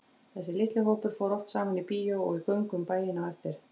Þessi litli hópur fór oft saman í bíó og í göngu um bæinn á eftir.